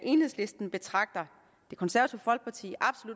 enhedslisten betragter det konservative folkeparti